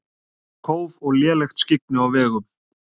Kóf og lélegt skyggni á vegum